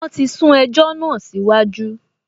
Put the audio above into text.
Wọ́n ti sún ẹjọ́ náà síwájú